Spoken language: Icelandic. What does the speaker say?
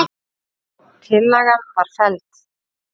Tillagan var felld.